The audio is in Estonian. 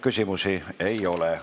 Küsimusi ei ole.